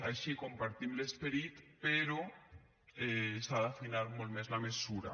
així compartim l’esperit però s’ha d’afinar molt més la mesura